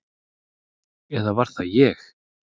Eða var það ég?